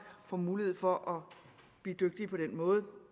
får mulighed for at blive dygtige på den måde